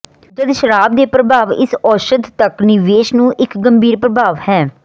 ਜਦ ਸ਼ਰਾਬ ਦੇ ਪ੍ਰਭਾਵ ਇਸ ਔਸ਼ਧ ਤੱਕ ਨਿਵੇਸ਼ ਨੂੰ ਇੱਕ ਗੰਭੀਰ ਪ੍ਰਭਾਵ ਹੈ